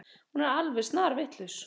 Hún er alveg snarvitlaus.